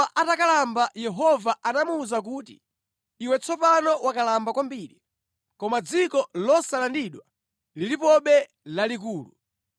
Yoswa atakalamba Yehova anamuwuza kuti, Iwe tsopano wakalamba kwambiri, koma dziko losalandidwa lilipobe lalikulu.